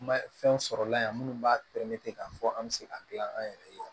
Kuma fɛn sɔrɔ la yan minnu b'a k'a fɔ an bɛ se ka gilan an yɛrɛ ye